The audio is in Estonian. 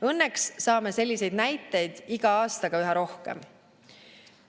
Õnneks saame selliseid näiteid iga aastaga üha rohkem.